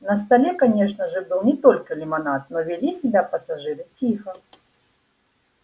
на столе конечно же был не только лимонад но вели себя пассажиры тихо